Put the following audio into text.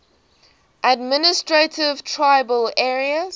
administered tribal areas